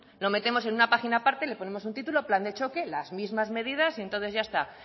lo metemos en una página aparte le ponemos un título plan de choque las mismas medidas y entonces ya está